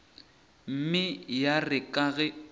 mme ya re ka ge